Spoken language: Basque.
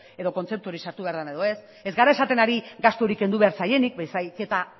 edo kontzeptu hori sartu behar den edo ez ez gara esaten ari gastu hori kendu behar zaienik baizik eta